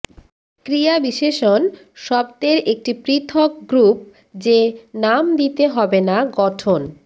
ক্রিয়াবিশেষণ শব্দের একটি পৃথক গ্রুপ যে নাম দিতে হবে না গঠন